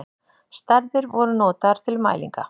Stærðir voru notaðar til mælinga.